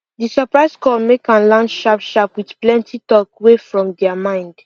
de surprise call make am land sharp sharp with plenty talk wey from dia mind